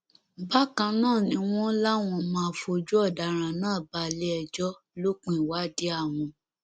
bákan náà ni wọn láwọn máa fojú ọdaràn náà balẹẹjọ lópin ìwádìí àwọn